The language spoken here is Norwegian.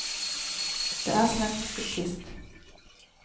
Det er som en brukket kvist.